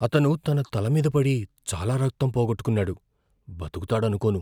అతను తన తల మీది పడి చాలా రక్తం పోగొట్టుకున్నాడు. బతుకుతాడనుకోను.